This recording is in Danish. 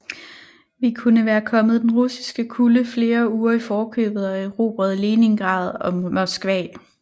Vi kunne være kommet den russiske kulde flere uger i forkøbet og erobret Leningrad og Moskva